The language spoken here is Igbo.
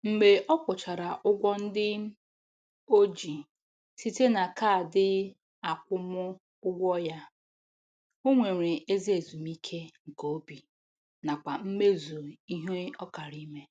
Mgbe ọ kwụchara ụgwọ ndị o ji site na kaadị akwụmụụgwọ ya, o nwere ezi ezumike nke obi nakwa mmezu ihe ọ kara ime.